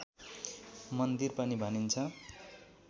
मन्दिर पनि भनिन्छ